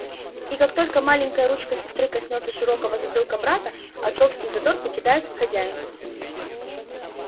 и как только маленькая ручка сестры коснётся широкого затылка брата отцовский задор покидает хозяина